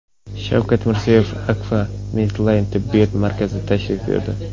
Shavkat Mirziyoyev Akfa Medline tibbiyot markaziga tashrif buyurdi.